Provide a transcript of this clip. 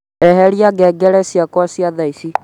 eheria ngengere ciakwa cia thaĩcĩ